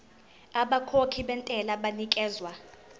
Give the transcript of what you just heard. abakhokhi bentela banikezwa